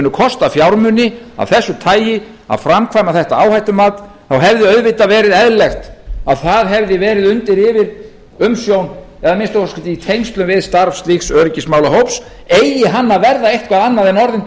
munu kosta fjármuni af þessu tagi að framkvæma þetta áhættumat þá hefði auðvitað verið eðlilegt að það hefði verið undir yfirumsjón eða að minnsta kosti í tengslum við starfs slíks öryggismálahóps eigi hann að verða eitthvað annað en orðin tóm